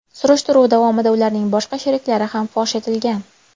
Surishtiruv davomida ularning boshqa sheriklari ham fosh etilgan.